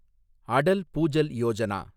Atal Bhujal Yojana